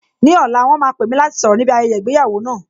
Ní ọ̀la, wọn máa pè mí láti sọ̀rọ̀ ní bi ayẹyẹ ìgbéyàwó náà